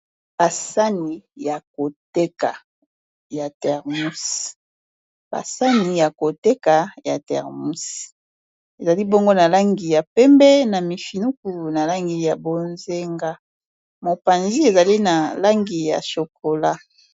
basani ya koteka ya termus ezali bongo na langi ya pembe na mifinuku na langi ya bozenga mopanzi ezali na langi ya chokola